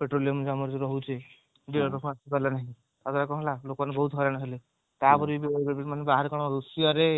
petroleum ଆମର ଯୋଉ ରହୁଛି ଆସିପାରିଲା ନାହିଁ ତାପରେ କଣ ହେଲା ଲୋକମାନେ ବହୁତ ହଇରାଣ ହେଲେ ତାପରେ ବାହାରେ କଣ ରୁଷିଆରେ